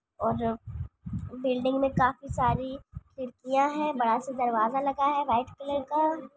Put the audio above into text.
और बिल्डिंग मै काफी सारी खिड़कियां है बड़ा सा दरवाजा लगा है व्हाइट कलर का।